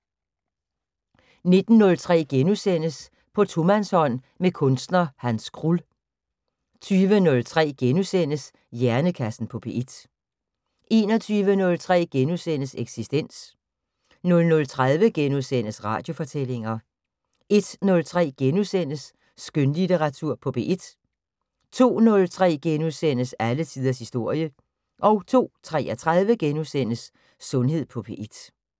19:03: På tomandshånd med kunstner Hans Krull * 20:03: Hjernekassen på P1 * 21:03: Eksistens * 00:30: Radiofortællinger * 01:03: Skønlitteratur på P1 * 02:03: Alle tiders historie * 02:33: Sundhed på P1 *